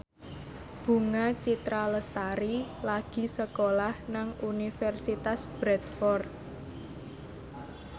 Bunga Citra Lestari lagi sekolah nang Universitas Bradford